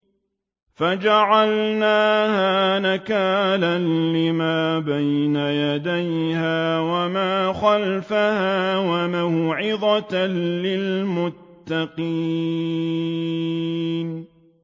فَجَعَلْنَاهَا نَكَالًا لِّمَا بَيْنَ يَدَيْهَا وَمَا خَلْفَهَا وَمَوْعِظَةً لِّلْمُتَّقِينَ